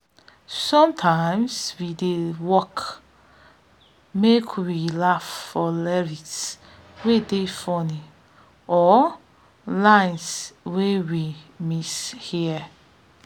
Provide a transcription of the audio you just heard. sometimes we dey stop work make we laugh for lyrics wey dey funny or lines wey we mishear